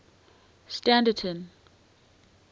standerton